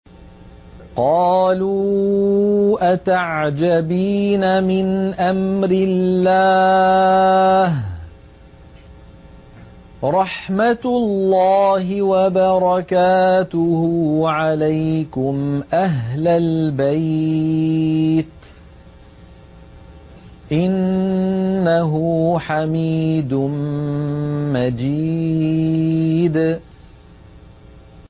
قَالُوا أَتَعْجَبِينَ مِنْ أَمْرِ اللَّهِ ۖ رَحْمَتُ اللَّهِ وَبَرَكَاتُهُ عَلَيْكُمْ أَهْلَ الْبَيْتِ ۚ إِنَّهُ حَمِيدٌ مَّجِيدٌ